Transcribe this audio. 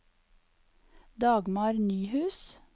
Dagmar Nyhus